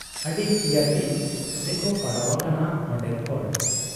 ᱟᱹᱰᱤ ᱦᱤᱭᱟᱹᱛᱤᱧ ᱨᱮᱠᱚ ᱯᱟᱲᱟᱣ ᱟᱠᱟᱱᱟ ᱯᱱᱰᱮᱱ ᱦᱚᱲ ᱾